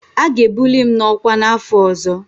A ga-ebuli m n'ọkwa n'afọ ọzọ.